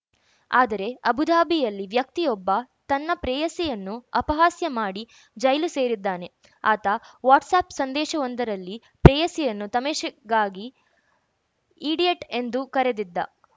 ಆದರೆ ಅಬು ಧಾಬಿಯಲ್ಲಿ ವ್ಯಕ್ತಿಯೊಬ್ಬ ತನ್ನ ಪ್ರೇಯಸಿಯನ್ನು ಅಪಹಾಸ್ಯ ಮಾಡಿ ಜೈಲು ಸೇರಿದ್ದಾನೆ ಆತ ವಾಟ್ಸಾಪ್‌ ಸಂದೇಶವೊಂದರಲ್ಲಿ ಪ್ರೇಯಸಿಯನ್ನು ತಮೆಷೆಗಾಗಿ ಈಡಿಯಟ್‌ ಎಂದು ಕರೆದಿದ್ದ